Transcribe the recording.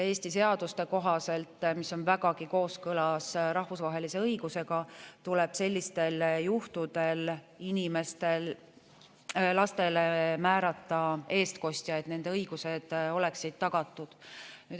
Eesti seaduste kohaselt, mis on vägagi kooskõlas rahvusvahelise õigusega, tuleb sellistel juhtudel lastele määrata eestkostja, et nende õigused oleksid tagatud.